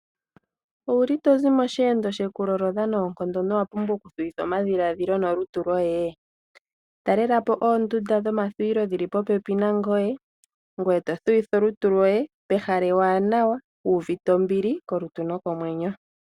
Owuli tozi mosheendo sheku lolodha noonkondo no wapumbwa oku thuwitha omadhiladhilo nolutu loye? Talelapo oondunda dhomathuwilo dhili popepi nangoye to thuwitha olutu loye pehala ewanawa wu uvite ombili kolutu nokomwenyo.